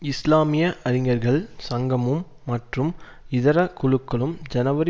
இஸ்லாமிய அறிஞர்கள் சங்கமும் மற்றும் இதர குழுக்களும் ஜனவரி